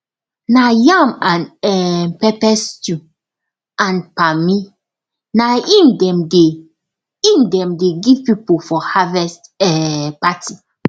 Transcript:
na yam and um pepper stew and palmi na im dem dey im dem dey give people for harvest um party